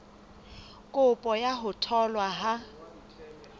kopo ya ho tholwa ha